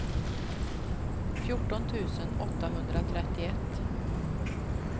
fjorton tusen åttahundratrettioett